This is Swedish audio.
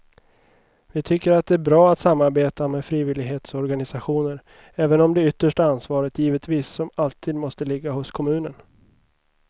Vi tycker att det är bra att samarbeta med frivillighetsorganisationer även om det yttersta ansvaret givetvis som alltid måste ligga hos kommunen.